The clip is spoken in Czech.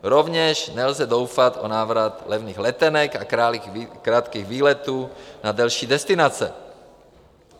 Rovněž nelze doufat v návrat levných letenek a krátkých výletů na delší destinace.